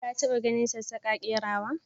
ka ta ba ganin sassaka kerawa?